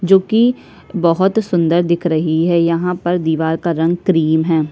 जो कि बहोत सुंदर दिख रही है यहाँ पर दीवार क्रीम है।